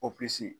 Operesi